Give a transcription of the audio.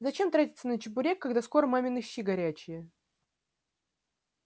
зачем тратиться на чебурек когда скоро мамины щи горячие